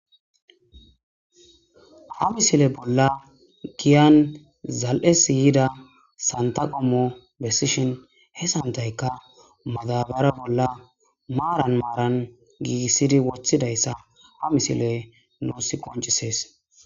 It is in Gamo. Ha misile bolla giyan zal'es yida santa qomo besishn he santayka madabara bolla marani marani giigisid wothidaysa ha misiley nuusi qoncises.